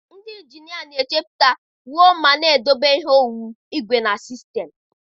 Ndị injinia na-echepụta, wuo ma na-edobe ihe owuwu, igwe, na sistemụ.